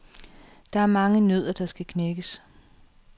Der er mange nødder, der skal knækkes.